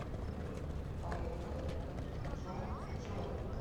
поехали джонджоли